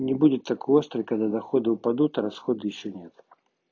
не будет такой острый когда доходы упадут а расходы ещё нет